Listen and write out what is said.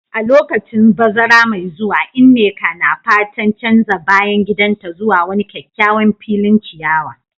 A lokacin bazara mai zuwa, Nneka na fatan canza bayan gidanta zuwa wani kyakkyawan filin ciyawa.